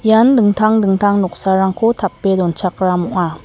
ian dingtang dingtang noksarangko tape donchakram ong·a.